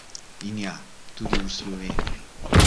In ja, tudi v Sloveniji!